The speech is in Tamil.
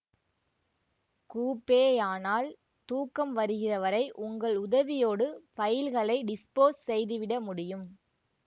கூபேயானால் தூக்கம் வருகிற வரை உங்கள் உதவியோடு ஃபைல்களை டிஸ்போஸ் செய்துவிட முடியும்